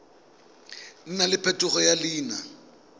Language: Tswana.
nna le phetogo ya leina